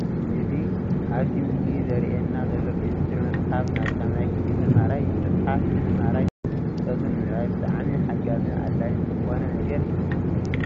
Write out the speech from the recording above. እዚ ኣብቲ ምስሊ ዘርእየና ዘሎ ኬምስትሪ መፅሓፍ ናይ 8ይ ክፍሊ ተማሃራይ እዩ። መፅሓፍ ንተማሃራይ ፍልጠቱ ንምዕባይ ብጣዕሚ ሓጋዝን ኣድላይን ዝኮነ ነገር እዩ።